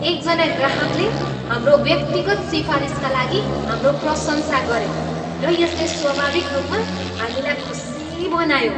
एकजना ग्राहकले हाम्रो व्यक्तिगत सिफारिसका लागि हाम्रो प्रशंसा गरे र यसले स्वाभाविक रूपमा हामीलाई खुसी बनायो।